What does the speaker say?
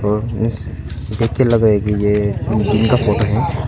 और इस देख के लग रहा है कि ये दिन का फोटो है।